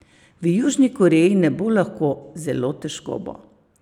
V Južni Koreji ne bo lahko, zelo težko bo.